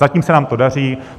Zatím se nám to daří.